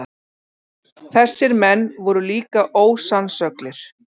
Þessir menn voru líka ósannsöglir.